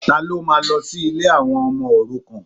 Ta ló máa lọ sí ilé àwọn ọmọ òrukàn?